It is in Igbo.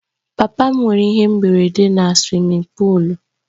Papa m nwere ihe mberede na suwimin pụụlu